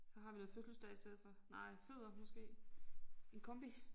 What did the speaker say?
Så har vi noget fødselsdag i stedet for nej fødder måske en kombi